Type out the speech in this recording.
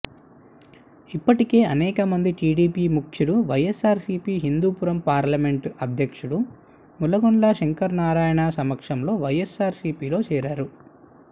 ఇప్పటికే అనేక మంది టీడీపీ ముఖ్యులు వైఎస్సార్సీపీ హిందూపురం పార్లమెంట్ అధ్యక్షుడు మాలగుండ్ల శంకరనారాయణ సమక్షంలో వైఎస్సార్సీపీ చేరారు